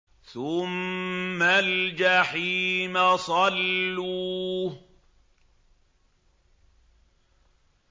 ثُمَّ الْجَحِيمَ صَلُّوهُ